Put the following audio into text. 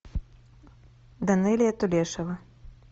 данэлия тулешева